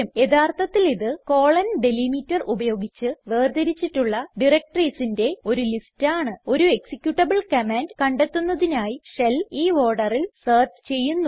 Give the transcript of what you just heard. യഥാർത്ഥത്തിൽ ഇത്160 ഡെലിമീറ്റർ ഉപയോഗിച്ച് വേർതിരിച്ചിട്ടുള്ള directoriesന്റെ ഒരു ലിസ്റ്റ് ആണ് ഒരു എക്സിക്യൂട്ടബിൾ കമാൻഡ് കണ്ടെത്തുന്നതിനായി ഷെൽ ഈ orderൽ സെർച്ച് ചെയ്യുന്നു